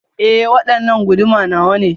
E, waɗanna guduma nawane.